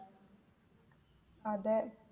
അതെ